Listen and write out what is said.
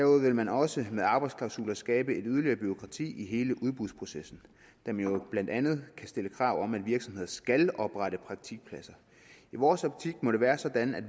vil man også med arbejdsklausuler skabe et yderligere bureaukrati i hele udbudsprocessen da man jo blandt andet kan stille krav om at virksomheder skal oprette praktikpladser i vores optik må det være sådan at